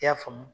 I y'a faamu